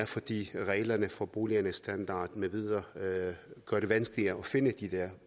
fordi reglerne for boligernes standard med videre gør det vanskeligere at finde de der